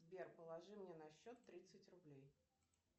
сбер положи мне на счет тридцать рублей